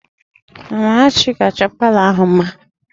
Amarachi ga-achọ palọ ahụ mma